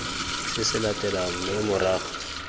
se se latelang mme morago